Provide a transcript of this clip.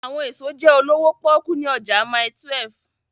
Awọn eso jẹ olowo poku ni ọja Mile 12